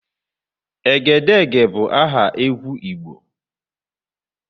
Egedege bụ aha egwu Igbo.